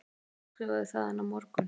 Hann verður útskrifaður þaðan á morgun